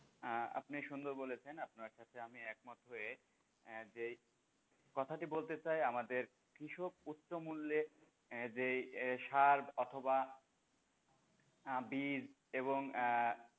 আহ আপনি সুন্দর বলেছেন আপনার সাথে আমি একমত হয়ে যেই কথাটি বলতে চাই আমাদের কৃষক উচ্চমূল্যে যেই সার অথবা বীজ এবং আহ,